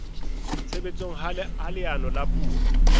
tshebetsong ha leano la puo